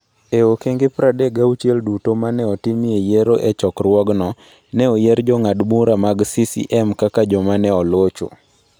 E okenge 36 duto ma ne otimie yiero e chokruogno, ne oyier jong'ad bura mag CCM kaka joma ne olocho.